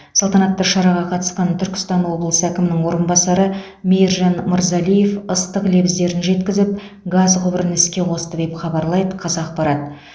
салтанатты шараға қатысқан түркістан облысы әкімінің орынбасары мейіржан мырзалиев ыстық лебіздерін жеткізіп газ құбырын іске қосты деп хабарлайды қазақпарат